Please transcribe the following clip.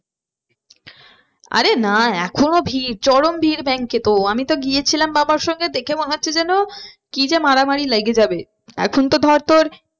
আরে না এখনো ভিড় চরম ভিড় bank এ তো আমি তো গিয়েছিলাম বাবার সঙ্গে দেখে মনে হচ্ছে যেন কি যে মারা মারি লেগে যাবে। এখন তো ধর তোর